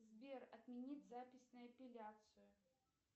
сбер отменить запись на эпиляцию